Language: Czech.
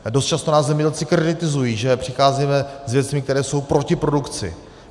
Dost často nás zemědělci kritizují, že přicházíme s věcmi, které jsou proti produkci.